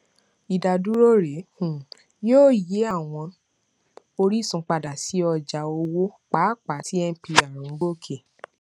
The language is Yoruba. ìdádúró rẹ um yóò yí àwọn orísun padà sí ọjà owó pàápàá tí mpr ń gòkè